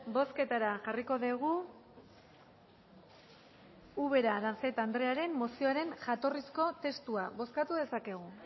bozketara jarriko dugu ubera aranzeta andrearen mozioaren jatorrizko testua bozkatu dezakegu